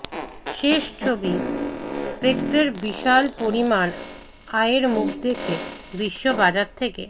শেষ ছবি স্পেকটার বিশাল পরিমাণ আয়ের মুখ দেখে বিশ্ব বাজার থেকে